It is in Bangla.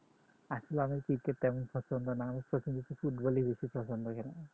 আসলে আমার cricket তেমন পছন্দ না football ই বেশিপছন্দ কেন